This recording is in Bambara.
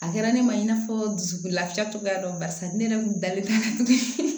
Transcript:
A kɛra ne ma i n'a fɔ dusukun lafiya cogoya dɔn ne yɛrɛ kun dalen bɛ